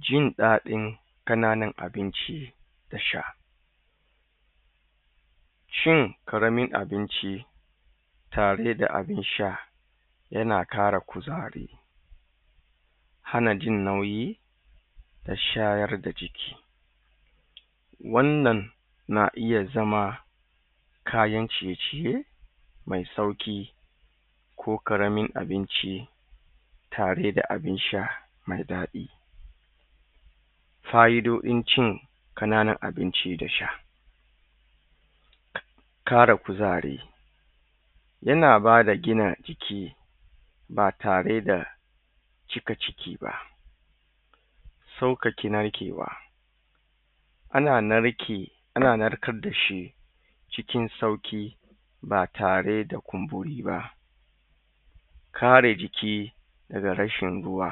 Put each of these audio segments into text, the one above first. Jin daɗin ƙananan abinci da sha shin ƙaramin abinci tare da abin sha yana ƙara kuzari hana jin nauyi da shayar da jiki wannan na iya zama kayan ciye ciye mai sauƙi ko ƙaramin abinci tare da abin sha me daɗi fa'idodin cin ƙananun abinci da sha ƙara kuzari yana bada gina jiki batare da cika ciki ba ɗakakin narkewa ana narke ana narkar da shi cikin sauƙi ba tare da kumburiba kare jiki daga rashin ruwa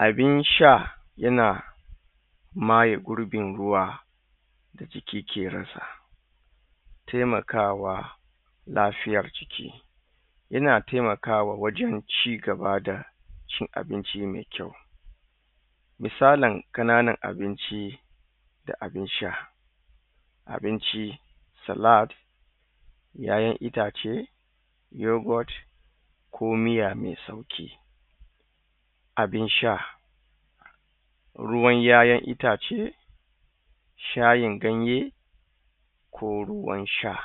abin sha yana maye gurbin ruwa daga ƙirƙiransa temakawa lafiyar jiki yana temakawa wajan ci gabada cin abinci mai kyau misalin ƙananan abinci da abin sha abinci sa lat YaYan itace yogot ko miya mesauki abin sha ruwan YaYan itace shayin ganye ko ruwan sha